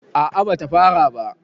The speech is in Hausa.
a a bata fara ba